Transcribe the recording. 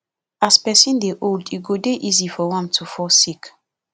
as person dey old e go dey easy for am to fall sick